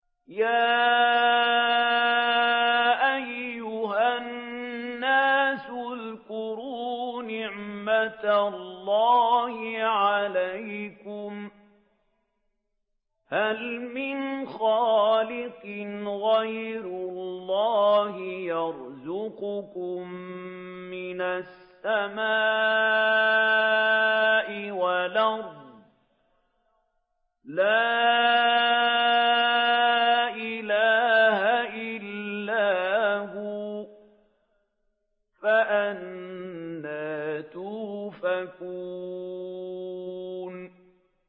يَا أَيُّهَا النَّاسُ اذْكُرُوا نِعْمَتَ اللَّهِ عَلَيْكُمْ ۚ هَلْ مِنْ خَالِقٍ غَيْرُ اللَّهِ يَرْزُقُكُم مِّنَ السَّمَاءِ وَالْأَرْضِ ۚ لَا إِلَٰهَ إِلَّا هُوَ ۖ فَأَنَّىٰ تُؤْفَكُونَ